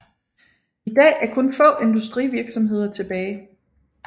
I dag er kun få industrivirksomheder tilbage